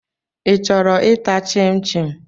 Ị chọrọ ịta chịm chịm?